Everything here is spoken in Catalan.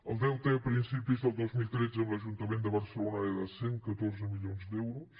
el deute a principis del dos mil tretze amb l’ajuntament de barcelona era de cent i catorze milions d’euros